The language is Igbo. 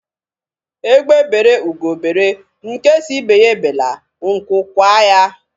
Egbe bere, ugo bere, nke sị ibe ya ebela, nkwu kwaa ya.